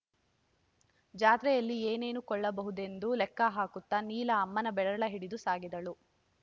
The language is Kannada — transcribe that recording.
ಜಾತ್ರೆಯಲ್ಲಿ ಏನೇನು ಕೊಳ್ಳಬಹುದೆಂದು ಲೆಕ್ಕ ಹಾಕುತ್ತಾ ನೀಲ ಅಮ್ಮನ ಬೆರಳ ಹಿಡಿದು ಸಾಗಿದಳು